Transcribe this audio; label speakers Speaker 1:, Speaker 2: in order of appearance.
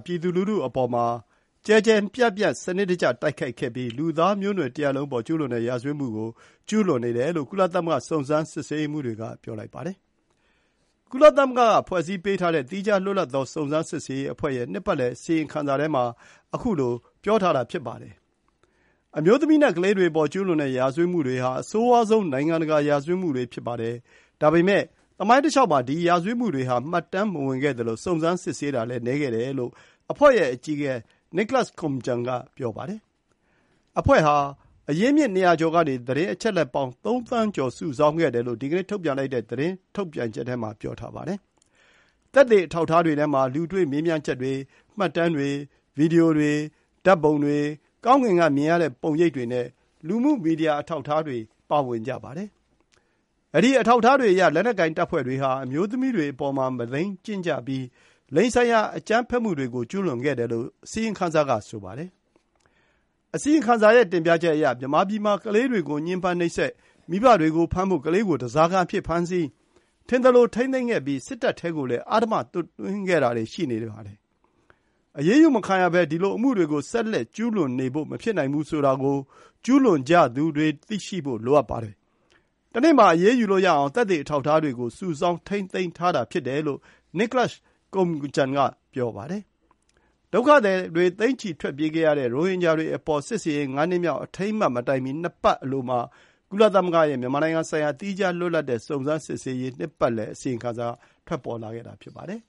Speaker 1: ပြည်သူလူထုအပေါ် တိုက်ခိုက်ပြီး လူသားမျိုးနွယ်တရပ်လုံးအပေါ်ကျူးလွန်တဲ့ ရာဇဝတ်မှုကို ကျူးလွန်နေတယ်လို့ ကုလသမဂ္ဂစုံစမ်းစစ်ဆေးရေးမှူးတွေက ပြောလိုက်ပါတယ်။ ကုလသမဂ္ဂက ဖွဲ့စည်းပေးထားတဲ့ သီးခြားလွတ်လပ်သော စုံစမ်းစစ်ဆေးရေး အဖွဲ့ရဲ့ နှစ်ပတ်လည်အစီရင်ခံစာထဲမှာ ခုလို ပြောထားတာဖြစ်ပါတယ်။ “အမျိုးသမီးနဲ့ ကလေးတွေအပေါ် ကျူးလွန်တဲ့ရာဇဝတ်မှုတွေဟာ အဆိုးဝါးဆုံး နိုင်ငံတကာ ရာဇဝတ်မှုတွေ ဖြစ်ပါတယ်။ ဒါပေမယ့် သမိုင်းတလျှောက်မှာ ဒီ ရာဇဝတ်မှုတွေဟာ မှတ်တမ်းမဝင်ခဲ့သလို စုံစမ်းစစ်ဆေးတာလည်း နည်းခဲ့တယ်လို့ အဖွဲ့ရဲ့အကြီးအကဲ Nicholas Koumjian က ပြောပါတယ်။ အဖွဲ့ဟာ အရင်းအမြစ် ၂၀၀ ကျော်ကနေ သတင်းအချက်အလက်ပေါင်း ၃ သန်းကျော် စုဆောင်းခဲ့တယ်လို့ ဒီကနေ့ ထုတ်ပြန်လိုက်တဲ့ သတင်းထုတ်ပြန်ချက်ထဲမှာ ပြောထားပါတယ်။ သက်သေအထောက်အထားတွေထဲမှာ လူတွေ့မေးမြန်းချက်တွေ၊ မှတ်တမ်းတွေ၊ ဗွီဒီယိုတွေ၊ ဓာတ်ပုံတွေ၊ ကောင်းကင်ကမြင်ရတဲ့ပုံရိပ် တွေနဲ့ လူမှုမီဒီယာ အထောက်အထားတွေ ပါဝင်ကြပါတယ်။ အဲဒီ အထောက်အထားတွေအရ လက်နက်ကိုင်တပ်ဖွဲ့တွေဟာ အမျိုးသမီးတွေအပေါ်မှာ မုဒိန်းကျင့်ကြပြီး လိင်ဆိုင်ရာအကြမ်းဖက်မှုတွေကို ကျူးလွန်ခဲ့တယ်လို့ အစီရင်ခံစာ က ဆိုပါတယ်။ အစီရင်ခံစာအရ မြန်မာပြည်မှာ ကလေးတွေကို ညှဉ်းပန်းနှိပ်စက်၊ မိဘတွေကိုဖမ်းဖို့ ကလေးကို ဓားစာခံအဖြစ် ဖမ်းဆီး၊ ထင်သလိုထိန်းသိမ်းခဲ့ပြီး စစ်တပ်ထဲကိုလည်း အဓမ္မသွတ်သွင်းခဲ့တာတွေ ရှိနေပါတယ်။ “အရေးယူမခံရဘဲ ဒီလိုအမှုတွေကို ဆက်လက်ကျူးလွန်နေဖို့ မဖြစ်နိုင်ဘူးဆိုတာ ကို ကျူးလွန်ကြသူတွေ သိဖို့လိုအပ်ပါတယ်။ တနေ့ မှာ အရေးယူလို့ရအောင် သက်သေအထောက်အထားတွေကို စုဆောင်း ထိန်းသိမ်းထားတာ ဖြစ်တယ်လို့ Nicholas Koumjian က ပြောပါတယ်။ ဒုက္ခသည် သိန်းချီထွက်ပြေးခဲ့ရတဲ့ ရိုဟင်ဂျာတွေအပေါ် စစ်ဆင်ရေး ၅ နှစ်မြောက် အထိမ်းအမှတ်မတိုင်မီ ၂ ပတ်အလိုမှာ ကုလသမဂ္ဂရဲ့ မြန်မာနိုင်ငံဆိုင်ရာ သီးခြားလွတ်လပ်တဲ့ စုံစမ်းစစ်ဆေးရေး နှစ်ပတ်လည် အစီရင်ခံစာ ထွက်လာတာ ဖြစ်ပါတယ်